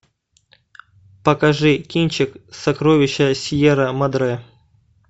покажи кинчик сокровища сьерра мадре